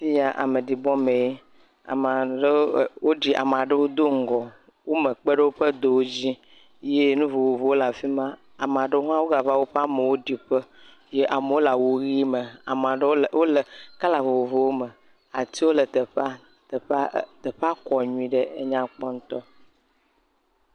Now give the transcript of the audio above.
Fi ya ameɖibɔ mee, ame aɖewo e..woɖi ame aɖewo do ŋgɔ, wome kpe ɖe woƒe yɔdo dzi eye nuvovovowo le afi ma, ame ɖewo hã wogava woƒe amewo ɖiƒe eye wole awu ʋi me, ame aɖewo le..wole..le kɔla vovovowo me, atiwo le teƒea, teƒea kɔ nyui ɖe, teƒa nyakpɔ ŋutɔ.